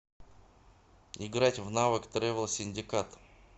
играть в навык тревел синдикат